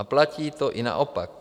A platí to i naopak.